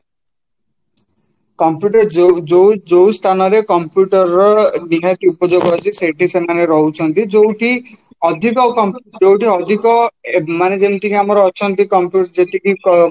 computer ଯୋଉ ଯୋଉ ଯୋଉ ସ୍ଥାନରେ computer ର ନିହାତି ଉପଯୋଗ ଅଛି ସେଇଠି ସେମାନେ ରହୁଛନ୍ତି ଯୋଉଠି ଅଧିକ ଯୋଉଠି ଅଧିକ ମାନେ ଯେମିତିକି ଆମର ଯେତିକି